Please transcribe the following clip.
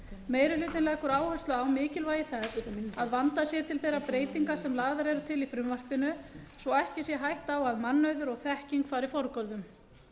meiri hlutinn leggur áherslu á mikilvægi þess að vandað sé til þeirra breytinga sem lagðar eru til í frumvarpinu svo ekki sé hætta á að mannauður og þekking fari forgörðum